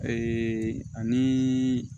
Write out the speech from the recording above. ani